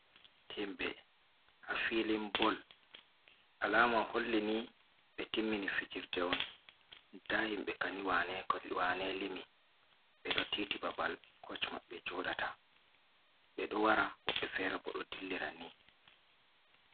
Himbe ha filin boll. Alama holli ni be timmini fijirɗe on. Nda himbe kani wane-wane limi. Be ɗo tiiti babal koc mabbe joɗata. Be ɗo wara. wobbe fere bo ɗo dillira ni.